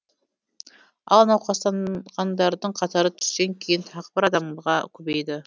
ал науқастанғандардың қатары түстен кейін тағы бір адамға көбейді